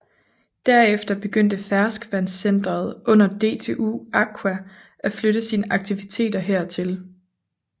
Derefter begyndte Ferskvandscentret under DTU Aqua at flytte sine aktiviteter her til